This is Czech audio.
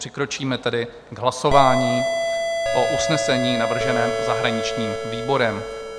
Přikročíme tedy k hlasování o usnesení navrženém zahraničním výborem.